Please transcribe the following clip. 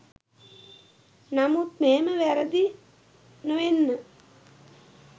නමුත් මෙහෙම වැරදි නොවෙන්න